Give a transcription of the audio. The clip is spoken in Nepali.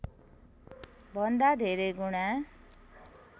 भन्दा धेरै गुणा